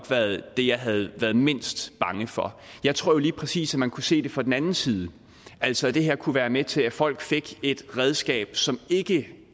været det jeg havde været mindst bange for jeg tror lige præcis at man kunne se det fra den anden side altså at det her kunne være med til at folk fik et redskab som ikke